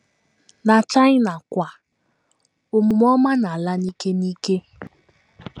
Na China kwa, omume ọma na - ala n’ike n’ike.